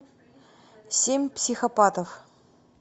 семь психопатов